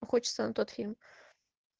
хочется тот фильм